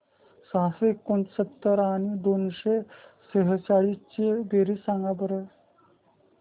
सहाशे एकोणसत्तर आणि दोनशे सेहचाळीस ची बेरीज सांगा बरं